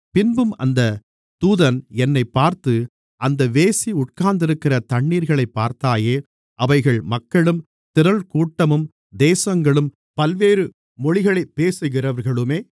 பின்னும் அந்த தூதன் என்னைப் பார்த்து அந்த வேசி உட்கார்ந்திருக்கிற தண்ணீர்களைப் பார்த்தாயே அவைகள் மக்களும் திரள்கூட்டமும் தேசங்களும் பல்வேறு மொழிகளைப் பேசுகிறவர்களுமே